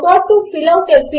గమనించినందుకు కృతజ్ఞతలు